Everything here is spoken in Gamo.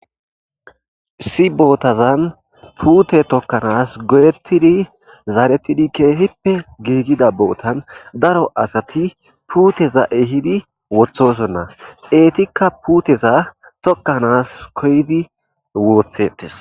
issi bootazan puute tokkanas goyettidi zaarettidi keefippe giigida bootan daro asati puuteza ehidi wothosonna eetikka puuteza tokkanaas koydi woothetes